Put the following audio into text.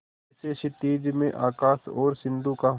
जैसे क्षितिज में आकाश और सिंधु का